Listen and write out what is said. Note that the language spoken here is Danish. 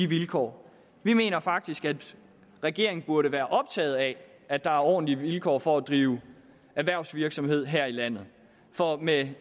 vilkår vi mener faktisk at regeringen burde være optaget af at der er ordentlige vilkår for at drive erhvervsvirksomhed her i landet med